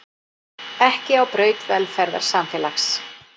Ekki á braut velferðarsamfélags